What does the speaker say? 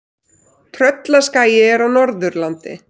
Tröllaskagi er á Norðurlandi.